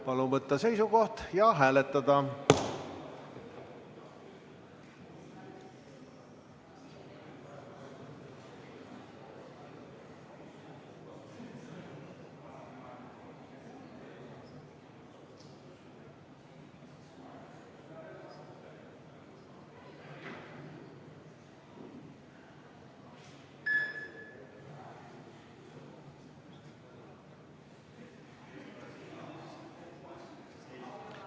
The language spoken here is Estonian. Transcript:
Palun võtta seisukoht ja hääletada!